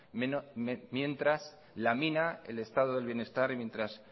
mientras lamina el estado del bienestar y mientras